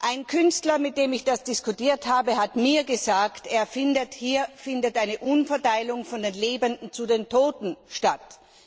Ein Künstler, mit dem ich das diskutiert habe, hat mir gesagt, hier fände eine Umverteilung von den Lebenden zu den Toten statt.